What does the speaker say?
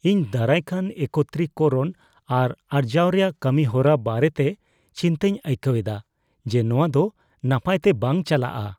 ᱤᱧ ᱫᱟᱨᱟᱭ ᱠᱟᱱ ᱮᱠᱚᱛᱨᱤᱼᱠᱚᱨᱚᱱ ᱟᱨ ᱟᱨᱡᱟᱣ ᱨᱮᱭᱟᱜ ᱠᱟᱹᱢᱤᱦᱚᱨᱟ ᱵᱟᱨᱮᱛᱮ ᱪᱤᱱᱛᱟᱹᱧ ᱟᱹᱭᱠᱟᱹᱣ ᱮᱫᱟ ᱡᱮ ᱱᱚᱶᱟ ᱫᱚ ᱱᱟᱯᱟᱭᱛᱮ ᱵᱟᱝ ᱪᱟᱞᱟᱜᱼᱟ ᱾